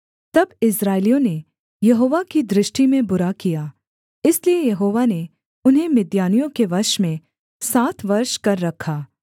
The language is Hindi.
तब इस्राएलियों ने यहोवा की दृष्टि में बुरा किया इसलिए यहोवा ने उन्हें मिद्यानियों के वश में सात वर्ष कर रखा